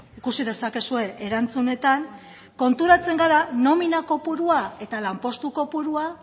ikusi dezakezue erantzunetan konturatzen gara nomina kopurua eta lanpostu kopurua